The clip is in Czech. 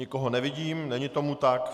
Nikoho nevidím, není tomu tak.